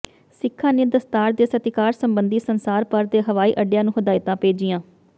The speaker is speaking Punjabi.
ਸਿੱਖਾਂ ਨੇ ਦਸਤਾਰ ਦੇ ਸਤਿਕਾਰ ਸਬੰਧੀ ਸੰਸਾਰ ਭਰ ਦੇ ਹਵਾਈ ਅੱਡਿਆਂ ਨੂੰ ਹਦਾਇਤਾਂ ਭੇਜੀਆਂ